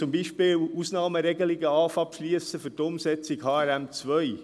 Zum Beispiel begannen wir, Ausnahmeregelungen für die Umsetzung von HRM2 zu beschliessen.